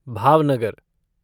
Bhavnagar